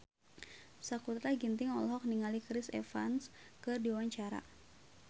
Sakutra Ginting olohok ningali Chris Evans keur diwawancara